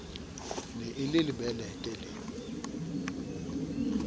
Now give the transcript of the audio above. ne e le lebelete le